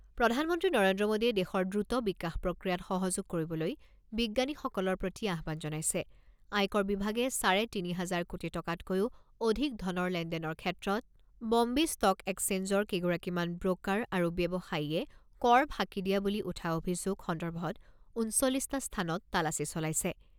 প্ৰধান মন্ত্ৰী নৰেন্দ্ৰ মোডীয়ে দেশৰ দ্ৰুত বিকাশ প্ৰক্ৰিয়াত সহযোগ কৰিবলৈ বিজ্ঞানীসকলৰ প্ৰতি আহ্বান জনাইছে আয়কৰ বিভাগে চাৰে তিনি হাজাৰ কোটি টকাতকৈও অধিক ধনৰ লেনদেনৰ ক্ষেত্ৰত বম্বে ষ্টক একচেঞ্জৰ কেইগৰাকীমান ব্ৰ'কাৰ আৰু ব্যৱসায়ীয়ে কৰ ফাঁকি দিয়া বুলি উঠা অভিযোগ সন্দৰ্ভত ঊনচল্লিছটা স্থানত তালাচী চলাইছে।